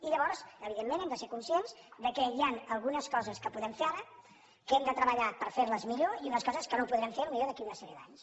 i llavors evidentment hem de ser conscients que hi ha algunes coses que podem fer ara que hem de treballar per fer·les millor i unes coses que no podrem fer pot·ser d’aquí a una sèrie d’anys